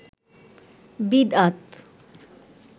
বিদআত